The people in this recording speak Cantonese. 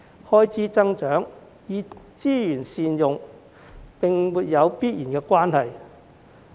開支增長與資源善用並沒有必然的關係。